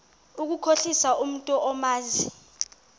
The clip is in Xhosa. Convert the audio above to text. ukukhohlisa umntu omazi